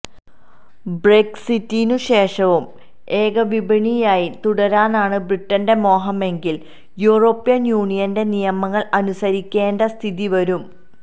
ബ്രെക്സിറ്റിനു ശേഷവും ഏകവിപണിയായി തുടരാനാണു ബ്രിട്ടന്റെ മോഹമെങ്കിൽ യൂറോപ്യൻ യൂണിയന്റെ നിയമങ്ങൾ അനുസരിക്കേണ്ട സ്ഥിതി വരും